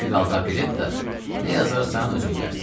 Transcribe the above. O ki qaldı operettaya, nə yazarsan özün bilərsən.